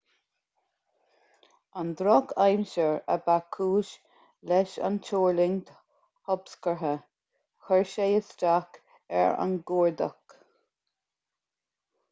an drochaimsir a ba chúis leis an tuirlingt thobscortha chuir sé isteach ar an gcuardach